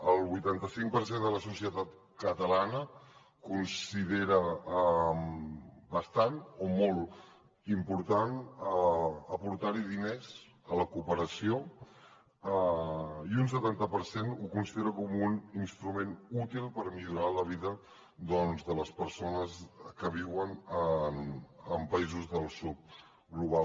el vuitanta cinc per cent de la societat catalana considera bastant o molt important aportar diners a la cooperació i un setanta per cent ho considera com un instrument útil per millorar la vida de les persones que viuen en països del sud global